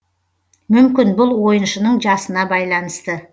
мүмкін бұл ойыншының жасына байланысты